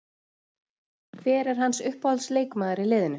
Hver er hans uppáhalds leikmaður í liðinu?